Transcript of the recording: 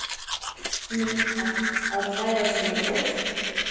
Neitar að klæðast svona bol?